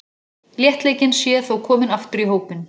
Léttleikinn sé þó kominn aftur í hópinn.